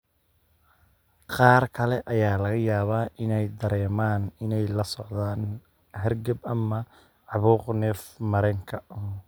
Qaar kale ayaa laga yaabaa inay dareemaan inay la socdaan hargab ama caabuq neef-mareenka.